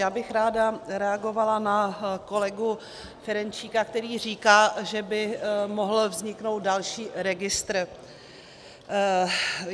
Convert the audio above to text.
Já bych ráda reagovala na kolegu Ferjenčíka, který říká, že by mohl vzniknout další registr.